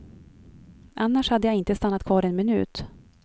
Annars hade jag inte stannat kvar en minut.